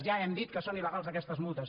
ja hem dit que són il·legals aquestes multes